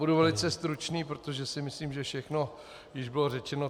Budu velice stručný, protože si myslím, že všechno již bylo řečeno.